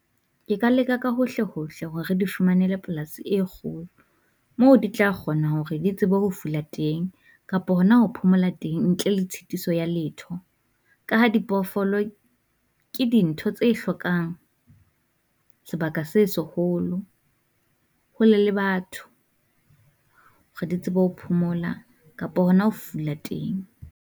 Ke ka leka ka hohle hohle hore re di fumanele polas e kgolo, moo di tla kgona hore di tsebe ho fula teng, kapo hona ho phomola teng ntle le tshitiso ya letho. Ka ha dipoofolo ke dintho tse hlokang sebaka se seholo hole le batho, re di tsebe ho phomola kapo hona ho fula teng.